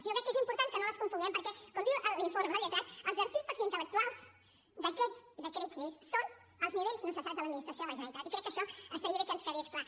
jo crec que és important que no les confonguem perquè com diu l’informe del lletrat els artífexs intel·lectuals d’aquests decrets lleis són els nivells no cessats de l’administració de la generalitat i crec que això estaria bé que ens quedés clar